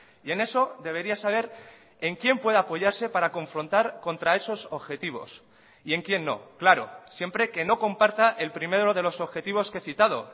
y en eso debería saber en quién puede apoyarse para confrontar contra esos objetivos y en quién no claro siempre que no comparta el primero de los objetivos que he citado